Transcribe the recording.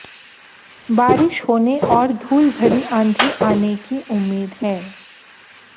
बारिश होने और धूल भरी आंधी आने की उम्मीद है